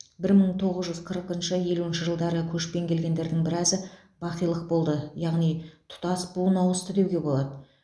бір мың тоғыз жүз қырықыншы елуінші жылдары көшпен келгендердің біразы бақилық болды яғни тұтас буын ауысты деуге болады